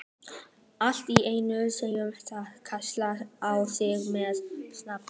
Allt í einu heyrði hann kallað á sig með nafni.